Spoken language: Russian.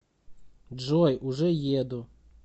джой уже еду